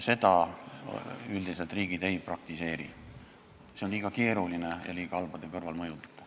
Seda riigid üldiselt ei praktiseeri, see on liiga keeruline ja liiga halbade kõrvalmõjudega.